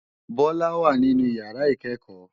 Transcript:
Bola wá ninú iyàrá ikèékò